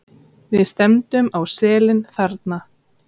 Við stefndum á selin þarna.